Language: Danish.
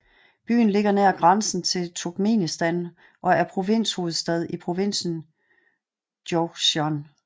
Byen ligger nær grænsen til Turkmenistan og er provinshovedstad i provinsen Jowzjan